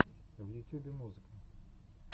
в ютюбе музыка